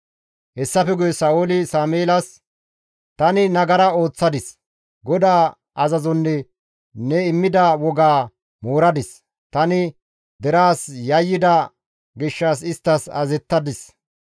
Hessafe guye Sa7ooli Sameelas, «Tani nagara ooththadis; GODAA azazonne ne immida wogaa mooradis; tani deraas yayyida gishshas isttas azazettadis.